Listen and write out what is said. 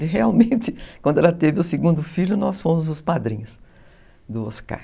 E realmente, quando ela teve o segundo filho, nós fomos os padrinhos do Oscar.